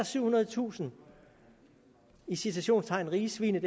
syvhundredetusind i citationstegn rige svin